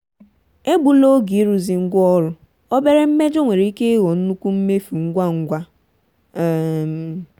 egbula oge ịrụzi ngwaọrụ; obere mmejọ nwere ike ịghọ nnukwu mmefu ngwa ngwa. um